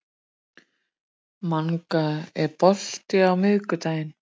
Manga, er bolti á miðvikudaginn?